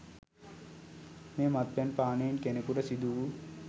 මෙය, මත්පැන් පානයෙන් කෙනකුට සිදු වූ